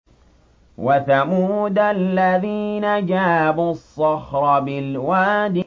وَثَمُودَ الَّذِينَ جَابُوا الصَّخْرَ بِالْوَادِ